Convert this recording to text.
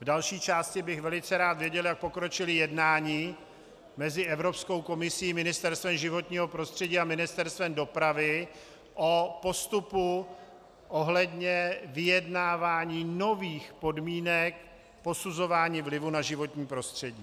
V další části bych velice rád věděl, jak pokročila jednání mezi Evropskou komisí, Ministerstvem životního prostředí a Ministerstvem dopravy o postupu ohledně vyjednávání nových podmínek posuzování vlivu na životní prostředí.